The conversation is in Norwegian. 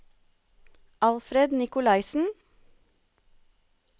Alfred Nicolaysen